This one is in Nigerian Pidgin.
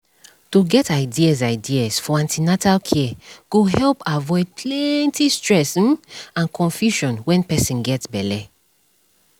to get ideas ideas for an ten atal care go help avoid plenty stress um and confusion when person get belle